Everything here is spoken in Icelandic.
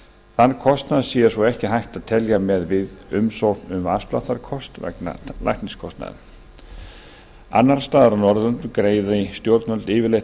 þann kostnað sé svo ekki hægt að telja með við umsókn um afsláttarkort vegna lækniskostnaðar annars staðar á norðurlöndum greiði stjórnvöld yfirleitt